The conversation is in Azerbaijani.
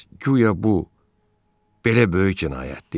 Guya bu belə böyük cinayətdir?